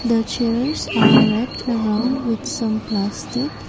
the chairs are wrapped around with some plastic.